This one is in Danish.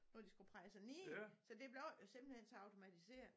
Når de skulle presse ned så det blev jo simpelthen så automatiseret